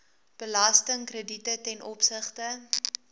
belastingkrediete ten opsigte